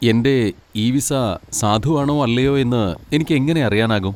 എന്റെ e visa സാധുവാണോ അല്ലയോ എന്ന് എനിക്ക് എങ്ങനെ അറിയാനാകും?